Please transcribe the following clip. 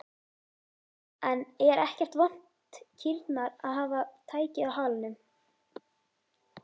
En er ekkert vont kýrnar að hafa tækið á halanum?